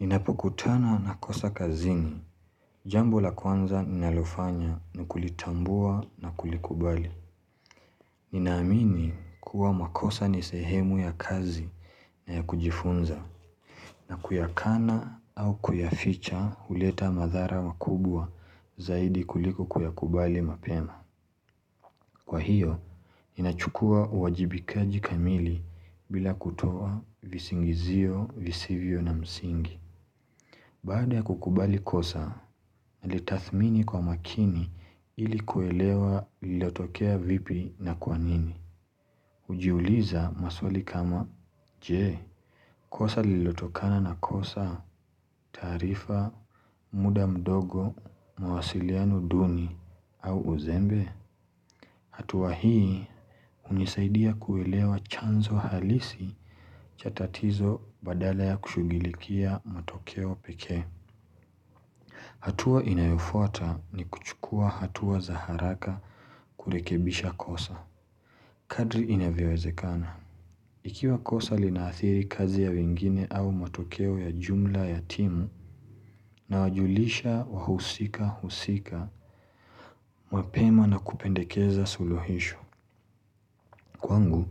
Ninapukutana na kosa kazini. Jambo la kwanza ninalofanya ni kulitambua na kulikubali. Ninaamini kuwa makosa nisehemu ya kazi na ya kujifunza na kuyakana au kuyaficha uleta madhara wakubwa zaidi kuliko kuyakubali mapema. Kwa hiyo, ninachukua uwajibikaji kamili bila kutoa visingizio, visivyo na msingi. Baada ya kukubali kosa, nilitathmini kwa makini ili kuelewa lilotokea vipi na kwanini. Ujiuliza, maswali kama, je, kosa lilotokana na kosa, tarifa, muda mdogo, mwasiliano duni, au uzembe? Atuwa hii, unisaidia kuelewa chanzo halisi cha tatizo badala ya kushugilikia matokeo pekee. Hatua inayofota ni kuchukua hatua za haraka kurekebisha kosa. Kadri inavyowezekana. Ikiwa kosa linaathiri kazi ya wengine au matokeo ya jumla ya timu nawajulisha wahusika husika mwapema na kupendekeza sulohisho. Kwangu,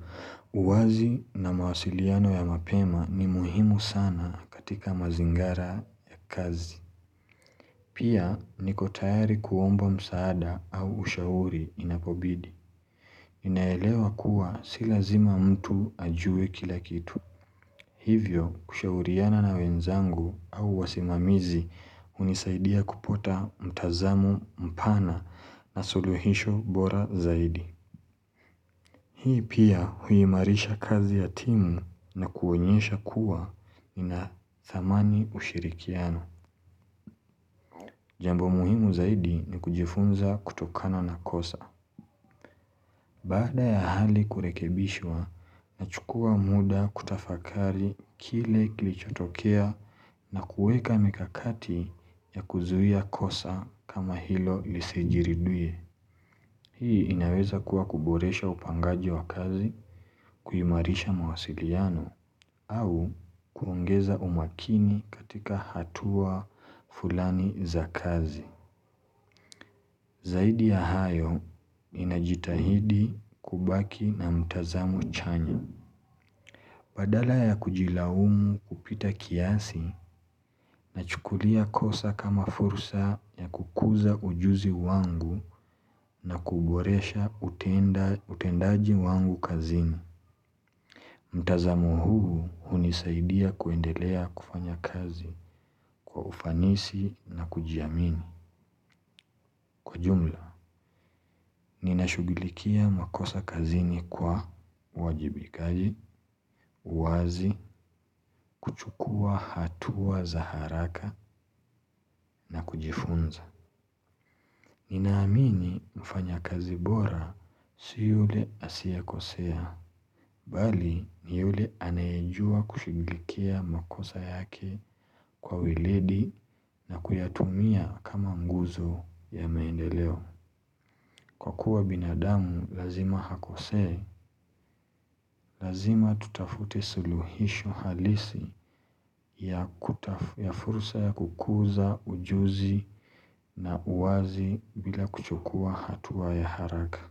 uwazi na mawasiliano ya mapema ni muhimu sana katika mazingara ya kazi. Pia, niko tayari kuomba msaada au ushauri inapobidi. Inaelewa kuwa, si lazima mtu ajue kila kitu. Hivyo, kushauriana na wenzangu au wasimamizi, unisaidia kupota mtazamu mpana na suluhisho bora zaidi. Hii pia huimarisha kazi ya timu na kuonyesha kuwa, ina thamani ushirikiano. Jambo muhimu zaidi ni kujifunza kutokano na kosa. Baada ya hali kurekebishwa, nachukua muda kutafakari kile kilichotokea na kuweka mikakati ya kuzuia kosa kama hilo lisijiriduye. Hii inaweza kuwa kuboresha upangaji wa kazi, kuimarisha mawasiliano, au kuongeza umakini katika hatua fulani za kazi. Zaidi ya hayo, ninajitahidi kubaki na mtazamu chanya. Badala ya kujilaumu kupita kiasi, nachukulia kosa kama fursa ya kukuza ujuzi wangu na kuboresha utenda utendaji wangu kazini. Mtazamu huu hunisaidia kuendelea kufanya kazi kwa ufanisi na kujiamini. Kwa jumla, ninashugilikia makosa kazini kwa wajibikaji, uwazi, kuchukua hatua za haraka na kujifunza. Ninaamini, mfanyakazi bora si yule asiekosea, bali ni yule anayejua kushugilikia makosa yake kwa wiledi na kuyatumia kama nguzo ya maendeleo. Kwa kuwa binadamu lazima hakosee, lazima tutafute suluhisho halisi ya kutaf furusa ya kukuza ujuzi na uwazi bila kuchukua hatuwa ya haraka.